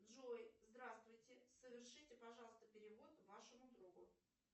джой здравствуйте совершите пожалуйста перевод вашему другу